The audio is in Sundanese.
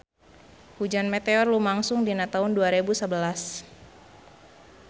Hujan meteor lumangsung dina taun dua rebu sabelas